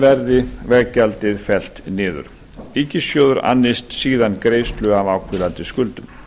verði veggjaldið fellt niður ríkissjóður annist síðan greiðslu af áhvílandi skuldum